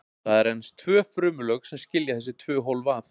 Það eru aðeins tvö frumulög sem skilja þessi tvö hólf að.